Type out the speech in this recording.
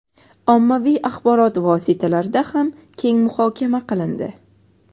ommaviy axborot vositalarida ham keng muhokama qilindi.